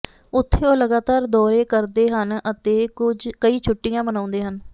ਉੱਥੇ ਉਹ ਲਗਾਤਾਰ ਦੌਰੇ ਕਰਦੇ ਹਨ ਅਤੇ ਕਈ ਛੁੱਟੀਆਂ ਮਨਾਉਂਦੇ ਹਨ